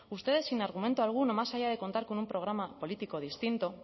ustedes sin argumento alguno más allá de contar con un programa político distinto